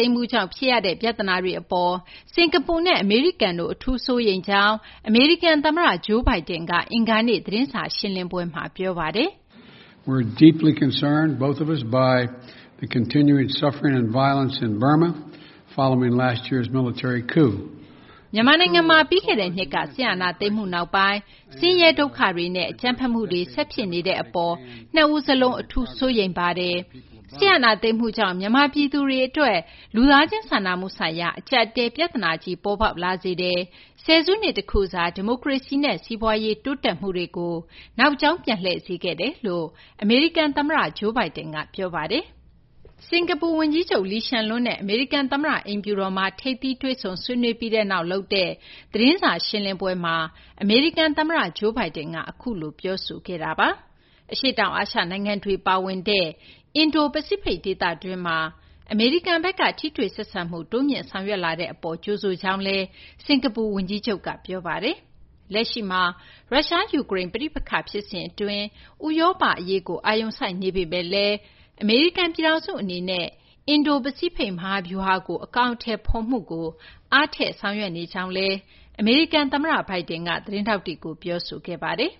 ိမ်းမှုကြောင့် ဖြစ်ရတဲ့ ပြသနာတွေ အပေါ် စကာၤပူနဲ့ အမေရိကန်တို့ အထူး စိုးရိမ်ကြောင်း အမေရိကန် သမ္မတ Joe Biden က အင်္ဂါနေ့ သတင်းစာ ရှင်းလင်းပွဲမှာ ပြောဆိုခဲ့ပါတယ်။ မြန်မာနိုင်ငံမှာ ပြီးခဲ့တဲ့နှစ်က စစ်အာဏာသိမ်းမှုနောက်ပိုင်း ဆင်းရဲ ဒုက္ခတွေနဲ့ အကြမ်းဖက်မှုတွေ ဆက်ဖြစ်နေတဲ့ အပေါ် နှစ်ဦးစလုံး အထူး စိုးရိမ်ပါတယ်။ စစ်အာဏာသိမ်းမှုကြောင့် မြန်မာပြည်သူတွေ အတွက် လူသားချင်းစာနာမှုဆိုင်ရာ အကြပ်အတည်း ပြသနာကြီး ပေါ်ပေါက်လာစေတယ်၊ ဆယ်စုနှစ် တခုစာ ဒီမိုကရေစီနဲ့ စီးပွားရေး တိုးတက်မှုတွေကို နောက်ကြောင်းပြန်လှည့်စေခဲ့တယ်လို့ အမေရိကန် သမ္မတ Joe Biden က ပြောဆိုခဲ့တာပါ။ စကာၤပူ ဝန်ကြီးချုပ် Lee Hsien Loong နဲ့ အမေရိကန် သမ္မတ အိမ်ဖြူတော်မှာ ထိပ်သီး တွေ့ဆုံ ဆွေးနွေးပြီးနောက် လုပ်တဲ့ သတင်းစာ ရှင်းလင်းပွဲမှာ အမေရိကန် သမ္မတ Joe Biden ကအခု လို ပြောဆိုခဲ့တာပါ။ အရှေ့တောင်အာရှ နိုင်ငံတွေ ပါဝင်တဲ့ အင်ဒို ပစိဖိတ် ဒေသတွင်းမှာ အမေရိကန်ဘက်က ထိတွေ့ ဆက်ဆံမှု တိုးမြှင့် ဆောင်ရွက်လာတဲ့ အပေါ် ကြိုဆိုကြောင်းလည်း စကာၤပူ ဝန်ကြီးချုပ်က ပြောဆိုခဲ့ပါတယ်။ လက်ရှိမှာ ရုရှား - ယူကရိန်း ပဋိပက္ခ ဖြစ်စဉ် အတွင်း ဥရောပ အရေးကို အာရုံစိုက်နေပေမယ့်လည်း အမေရိကန် ပြည်ထောင်စု အနေနဲ့ အင်ဒို- ပစိတ်ဖိတ် မဟာဗျူဟာကို အကောင်အထည်ဖော်မှုကို အားထည့်ဆောင်ရွက်နေကြောင်းလည်း အမေရိကန် သမ္မတ Biden က သတင်းထောက်တွေကို ပြောဆိုခဲ့ပါတယ်။